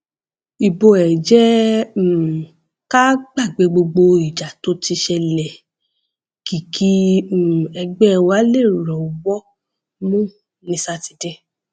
ibo ẹ jẹ um ká gbàgbé gbogbo ìjà tó ti ṣẹlẹ kí kí um ẹgbẹ wa lè rọwọ mú ní sátidé